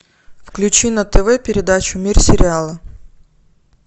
включи на тв передачу мир сериала